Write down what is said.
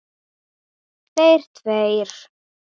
Þeir tveir.